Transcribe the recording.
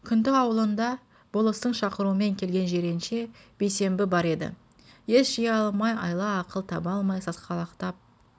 күнту аулында болыстың шақыруымен келген жиренше бейсенбі бар еді ес жия алмай айла-ақыл таба алмай сасқалақтап